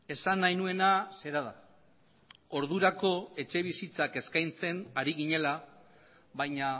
esan nahi nuena zera da ordurako etxebizitzak eskaintzen ari ginela baina